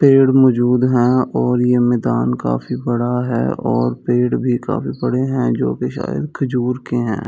पेड़ मौजूद है और ये मैदान काफी बड़ा है और पेड़ भी काफी पड़े हैं जो भी शायद खजूर के हैं।